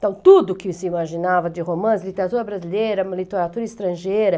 Então, tudo que se imaginava de romance, literatura brasileira, literatura estrangeira.